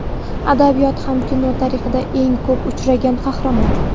Adabiyot va kino tarixida eng ko‘p uchragan qahramon.